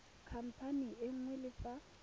khamphane e nngwe le fa